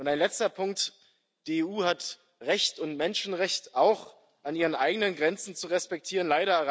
Ein letzter Punkt Die EU hat Recht und Menschenrecht auch an ihren eigenen Grenzen zu respektieren.